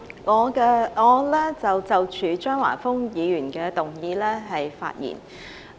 主席，我就張華峰議員的議案發言。